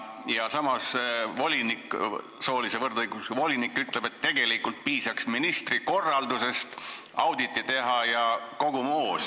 Samas ütleb soolise võrdõiguslikkuse volinik, et tegelikult piisaks ministri korraldusest, tuleks audit teha ja kogu moos.